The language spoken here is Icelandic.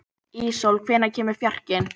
Íssól, hvenær kemur fjarkinn?